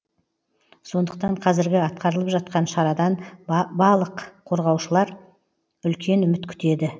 сондықтан қазіргі атқарылып жатқан шарадан балық қорғаушылар үлкен үміт күтеді